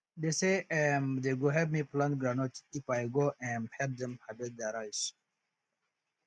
they say um they go help me plant groundnut if i go um help them harvest their rice